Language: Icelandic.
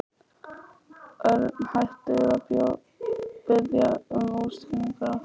Örn hætti við að biðja um útskýringar á því.